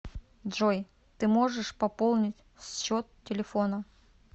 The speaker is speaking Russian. джой ты можешь пополнить счет телефона